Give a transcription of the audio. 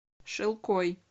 шилкой